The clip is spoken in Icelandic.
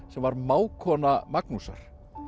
sem var mágkona Magnúsar